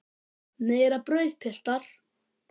Meira brauð, piltar?